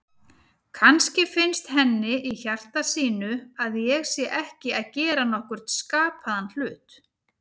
Kannski finnst henni í hjarta sínu að ég sé ekki að gera nokkurn skapaðan hlut.